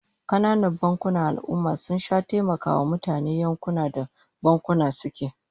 Kananan bankunan al'ummah sun sha taimakawa mutanen yankunan da bankunan suke